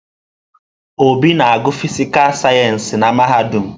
Obi na-agụ fịsịkà sayensị na mahadum.